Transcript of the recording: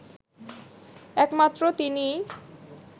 একমাত্র তিনিই